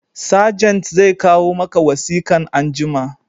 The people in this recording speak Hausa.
Sajent zai kawo maka wasikan anjima